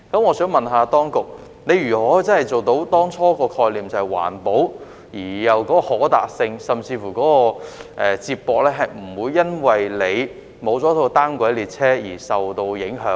我想問當局如何能夠真正落實當初的概念，即是環保而暢達，地區之間的接駁亦不會由於沒有單軌列車而受到影響？